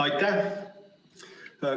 Aitäh!